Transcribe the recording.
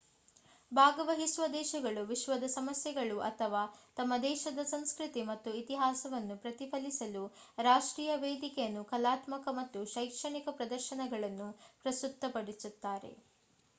ಭಾಗವಹಿಸುವ ದೇಶಗಳು ವಿಶ್ವದ ಸಮಸ್ಯೆಗಳು ಅಥವಾ ತಮ್ಮ ದೇಶದ ಸಂಸ್ಕೃತಿ ಮತ್ತು ಇತಿಹಾಸವನ್ನು ಪ್ರತಿಫಲಿಸಲು ರಾಷ್ಟ್ರೀಯ ವೇದಿಕೆಯಲ್ಲಿ ಕಲಾತ್ಮಕ ಮತ್ತು ಶೈಕ್ಷಣಿಕ ಪ್ರದರ್ಶನಗಳನ್ನು ಪ್ರಸ್ತುತಪಡಿಸುತ್ತಾರೆ